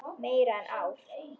Meira en ár.